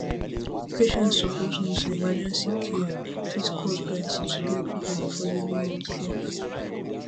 patients suppose know say emergency care fit cost plenty to get quick and affordable healthcare